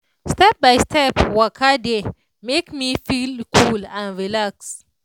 step by step waka dey make me feel cool and relax.